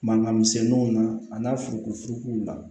Mankan misɛnninw na a n'a furukufurukuw la